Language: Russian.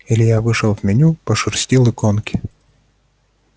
илья вышел в меню пошерстил иконки